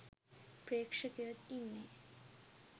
ප්‍රේක්ෂකයොත් ඉන්නේ.